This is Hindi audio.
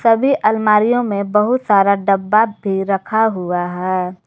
सभी अलमारियों में बहुत सारा डब्बा भी रखा हुआ है।